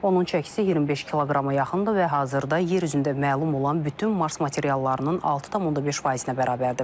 Onun çəkisi 25 kqrama yaxındır və hazırda yer üzündə məlum olan bütün Mars materiallarının 6,5%-ə bərabərdir.